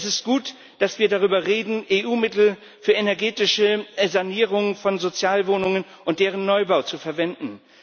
Es ist gut, dass wir darüber reden, EU Mittel für energetische Sanierungen von Sozialwohnungen und deren Neubau zu verwenden.